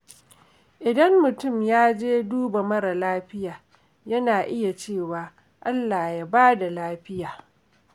Idan mutum ya je duba mara lafiya, yana iya cewa “Allah ya ba da lafiya.”